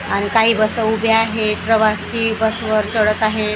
अणि काही बस उभ्या आहेत प्रवासी बसवर चढत आहेत.